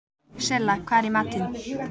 Silla, hvað er í matinn?